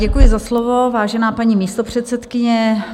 Děkuji za slovo, vážená paní místopředsedkyně.